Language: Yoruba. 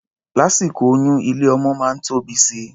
Lásìkò oyún, ilé-ọmọ máa ń tóbi si.